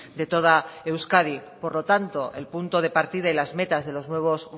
de toda euskadi por lo tanto el punto de partida y las metas de los nuevos